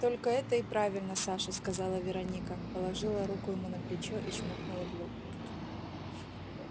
только это и правильно саша сказала вероника положила руку ему на плечо и чмокнула в лоб